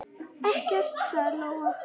Ekkert, sagði Lóa.